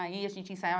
E aí a gente ensaiava.